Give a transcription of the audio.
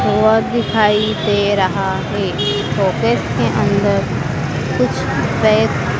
दिखाई दे रहा है फोकेस के अंदर कुछ कै--